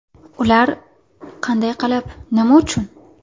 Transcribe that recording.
Ular: qanday qilib, nima uchun?